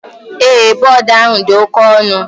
Ee, board ahu di oke onu